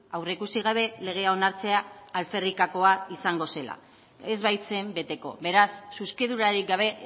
aurreikusi gabe legea onartzea alferrikakoa izango zela ez baitzen beteko beraz zuzkidurarik gabe